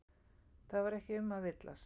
Það var ekki um að villast.